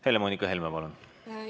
Helle‑Moonika Helme, palun!